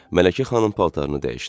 Mələkə xanım paltarını dəyişdi.